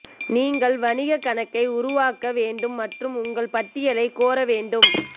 நீங்கள் வணிகக் கணக்கை உருவாக்க வேண்டும் மற்றும் உங்கள் பட்டியலைக் கோர வேண்டும்